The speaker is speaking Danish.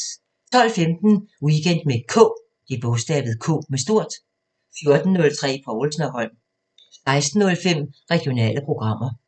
12:15: Weekend med K 14:03: Povlsen & Holm 16:05: Regionale programmer